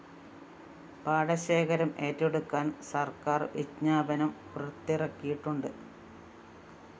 പാടശേഖരം ഏറ്റെടുക്കാന്‍ സര്‍ക്കാര്‍ വിജ്ഞാപനം പുറത്തിറക്കിയിട്ടുണ്ട്